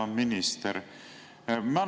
Hea minister!